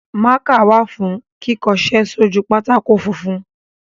Mákà wà fún kíkọṣẹ́ sójú pátákó funfun.